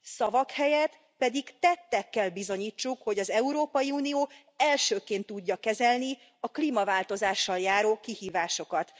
Szavak helyett pedig tettekkel bizonyítsuk, hogy az Európai Unió elsőként tudja kezelni a klímaváltozással járó kihívásokat.